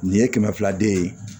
Nin ye kɛmɛ fila de ye